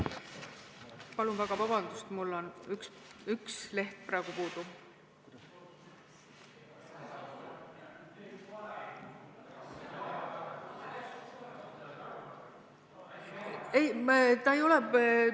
Palun väga vabandust, aga mul on üks leht puudu!